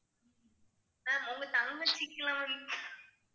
ma'am உங்க தங்கச்சிக்கு எல்லாம் வந்து